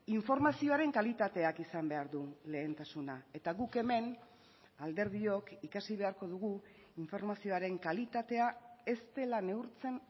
informazioaren kalitateak izan behar du lehentasuna eta guk hemen alderdiok ikasi beharko dugu informazioaren kalitatea ez dela neurtzen